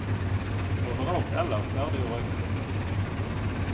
Overalt ellers er det jo røykeforbud.